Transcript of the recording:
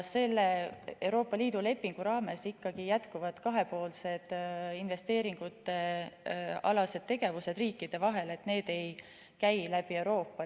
Selle Euroopa Liidu lepingu raames jätkuvad kahepoolsed investeeringutealased tegevused riikide vahel, need ei käi läbi Euroopa.